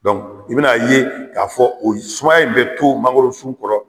Dɔnku i bɛna a ye k'a fɔ ko o sumaya in bɛ to magoro sun kɔrɔ